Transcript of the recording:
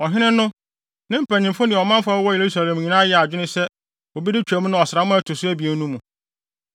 Ɔhene no, ne mpanyimfo ne ɔmanfo a wɔwɔ Yerusalem nyinaa yɛɛ adwene sɛ wobedi Twam no ɔsram a ɛto so abien no mu.